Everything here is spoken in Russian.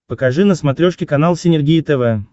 покажи на смотрешке канал синергия тв